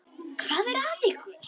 Hvað er að ykkur?